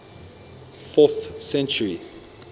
fourth century